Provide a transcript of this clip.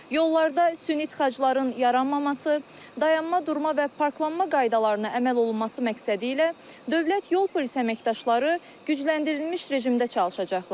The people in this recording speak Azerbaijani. Yollarda süni tıxacların yaranmaması, dayanma, durma və parklanma qaydalarına əməl olunması məqsədilə dövlət yol polisi əməkdaşları gücləndirilmiş rejimdə çalışacaqlar.